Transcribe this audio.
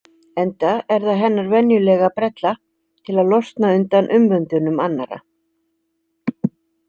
Enda er það hennar venjulega brella til að losna undan umvöndunum annarra.